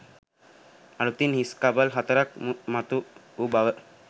අලුතින් හිස් කබල් හතරක් මතු වූ බව